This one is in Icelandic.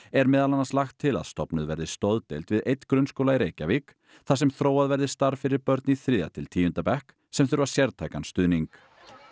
er meðal annars lagt til að stofnuð verði stoðdeild við einn grunnskóla í Reykjavík þar sem þróað verði starf fyrir börn í þriðja til tíunda bekk sem þurfa sértækan stuðning